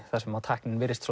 þar sem tæknin virðist